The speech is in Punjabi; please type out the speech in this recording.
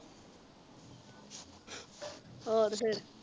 ਹੋਰ ਫੇਰ